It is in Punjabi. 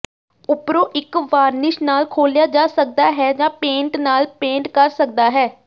ਉਪਰੋਂ ਇੱਕ ਵਾਰਨਿਸ਼ ਨਾਲ ਖੋਲ੍ਹਿਆ ਜਾ ਸਕਦਾ ਹੈ ਜਾਂ ਪੇਂਟ ਨਾਲ ਪੇਂਟ ਕਰ ਸਕਦਾ ਹੈ